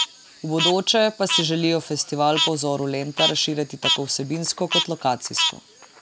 V bodoče pa si želijo festival po vzoru Lenta razširiti tako vsebinsko kot lokacijsko.